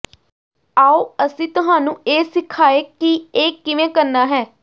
ਆਓ ਅਸੀਂ ਤੁਹਾਨੂੰ ਇਹ ਸਿਖਾਏ ਕਿ ਇਹ ਕਿਵੇਂ ਕਰਨਾ ਹੈ